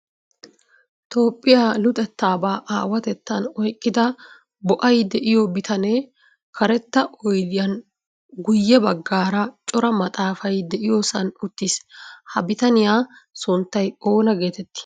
Toophphiya luxettaba aawatettan oyqqida bo"ay de"iyoo bitanee karetta oydiyan guyye baggaara cora maxaafay de"iyoosan uttis. Ha bitaniyaa sunttay oona geetettii?